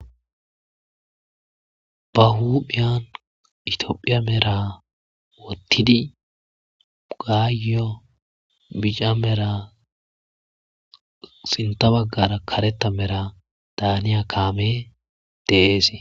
ba huuphiyan itiophiya mera wottidi gaayyo bica mera sinta baggara kareta mera daaniya kaame deeese